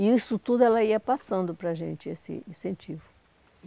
E isso tudo ela ia passando para a gente, esse incentivo.